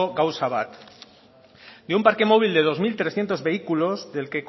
gauza bat de un parque móvil de dos mil trescientos vehículos del